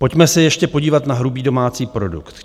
Pojďme se ještě podívat na hrubý domácí produkt.